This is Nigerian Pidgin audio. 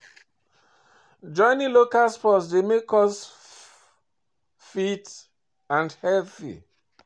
Joining local sport dey make us dey fit and healthy